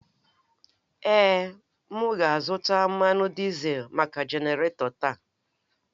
Èé, m ga-azụta mmanụ dizel maka genarator taa.